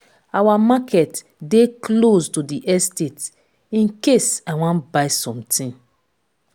our market dey close to the estate in case i wan buy something.